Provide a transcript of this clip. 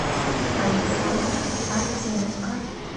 александра артеменко